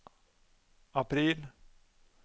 april